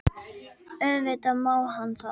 Auðvitað má hann það.